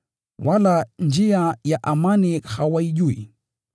wala njia ya amani hawaijui.”